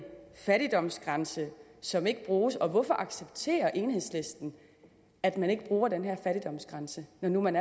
fattigdomsgrænse som ikke bruges og hvorfor accepterer enhedslisten at man ikke bruger den her fattigdomsgrænse når man